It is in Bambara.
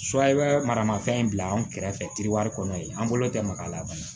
maramafɛn in bila anw kɛrɛfɛ tiriwari kɔnɔ yen an bolo tɛ mag'a la